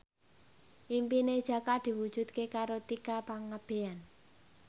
impine Jaka diwujudke karo Tika Pangabean